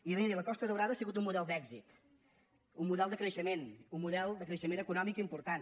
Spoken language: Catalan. i miri la costa daurada ha sigut un model d’èxit un model de creixement un model de creixement eco·nòmic important